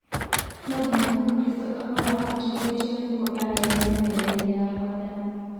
Nonginya mũkristo akorwo abatithĩtio nĩguo arĩanĩre methainĩ ya mwathani